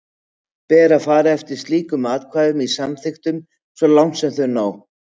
Ber þá að fara eftir slíkum ákvæðum í samþykktunum svo langt sem þau ná.